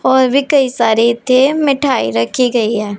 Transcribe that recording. और भी कई सारे इत्थे मिठाई रखी गई हैं।